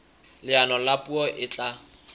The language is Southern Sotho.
leano la puo e tla